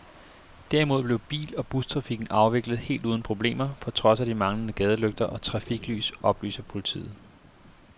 Derimod blev bil og bustrafikken afviklet helt uden problemer på trods af de manglende gadelygter og trafiklys, oplyser politiet.